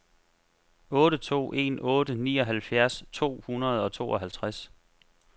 otte to en otte nioghalvfjerds to hundrede og tooghalvtreds